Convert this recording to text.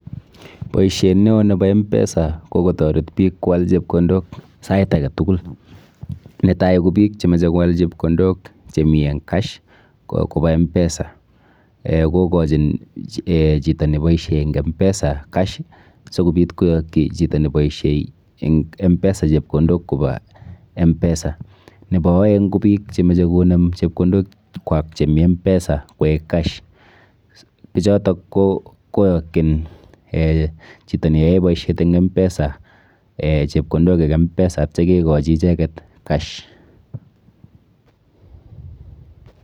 Boiset neo nebo mpesa kokotaret biik kowal chepkondok sait agetukul, netai kobiik chemeche kowal chepkondok chemi en cash koba mpesa kokochin chito neboisei eng mpesa cash sikobiit koyakchi chito neboisei eng mpesa chepkondok ko ba mpesa, nebo aeng kobiik chemeche chepkondok kwak chemii mpesa koek cash bichotok koyakyin chito neboisei eng mpesa chepkondok eng mpesa atye kekochin ichekei cash